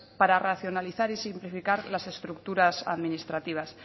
para racionalizar y simplificar las estructuras administrativas